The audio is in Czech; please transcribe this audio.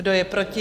Kdo je proti?